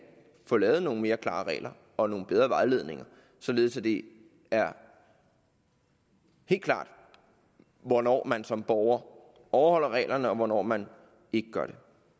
få lavet nogle mere klare regler og nogle bedre vejledninger således at det er helt klart hvornår man som borger overholder reglerne og hvornår man ikke gør